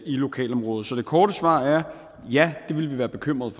lokalområdet så det korte svar er ja det ville vi være bekymrede